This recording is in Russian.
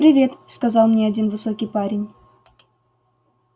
привет сказал мне один высокий парень